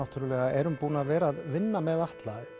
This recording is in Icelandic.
erum búin að vera að vinna með Atla